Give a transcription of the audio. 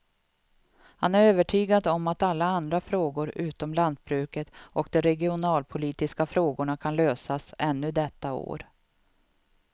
Han är övertygad om att alla andra frågor utom lantbruket och de regionalpolitiska frågorna kan lösas ännu detta år.